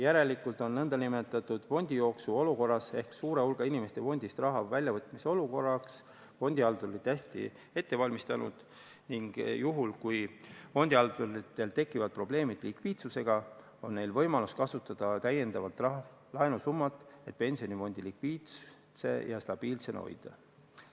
Fondihaldurid on nn fondijooksu olukorraks ehk suure hulga inimeste fondist raha väljavõtmise olukorraks end hästi ette valmistanud ning kui peaksid tekkima probleemid likviidsusega, siis on neil võimalus kasutada täiendavat laenusummat, et pensionifond likviidse ja stabiilsena hoida.